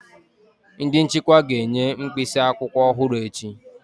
Ndị nchịkwa ga-enye mkpịsị akwụkwọ ọhụrụ echi